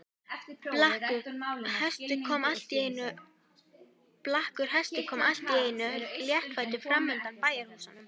Blakkur hestur kom allt í einu léttfættur fram undan bæjarhúsunum.